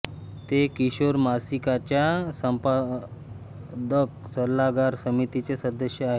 ते किशोर मासिकाच्या संपादक सल्लागार समितीचे सदस्य आहेत